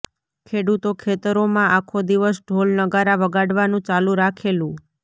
ખેડૂતો ખેતરોમાં આખો દિવસ ઢોલ નગારા વગાડવાનું ચાલુ રાખેલુ